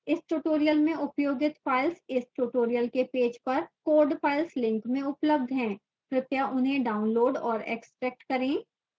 इस tutorial में उपयोगित files इस tutorial के पेज पर code files link में उपलब्ध हैं कृपया उन्हें डाउनलोड और एक्स्ट्रैक्ट करें